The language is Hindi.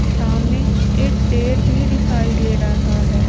सामने एक पेड़ भी दिखाई दे रहा है।